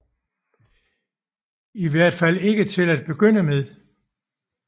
I hvert fald ikke til at begynde med